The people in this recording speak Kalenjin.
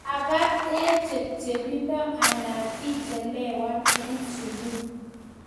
labaat eng chepchepindo anan ichelewan eng sukul